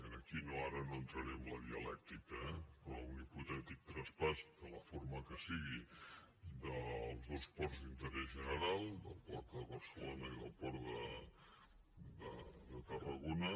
i aquí ara no entraré en la dialèctica eh però un hipotètic traspàs de la forma que sigui dels dos ports d’interès general del port de barcelona i del port de tarragona